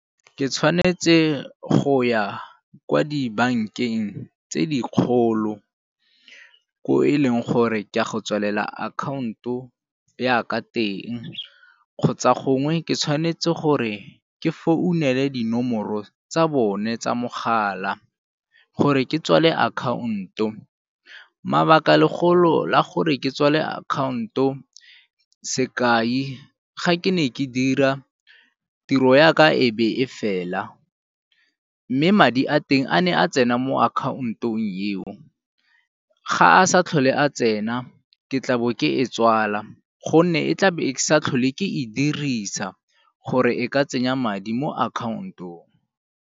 Ke tshwanetse go ya kwo dibankeng tse dikgolo, ko e leng gore ke a go tswalela akhaonto ya ka teng kgotsa gongwe ke tshwanetse gore ke founele dinomoro tsa bone tsa mogala gore ke tswale akhaonto. Mabaka legolo la gore ke tswale akhaonto, sekai, ga ke ne ke dira tiro ya ka e be e fela mme madi a teng a ne a tsena mo akhaontong eo ga a sa tlhole a tsena, ke tlabo ke e tswala gonne e tla be e sa tlhole ke e dirisa gore e ka tsenya madi mo akhaontong.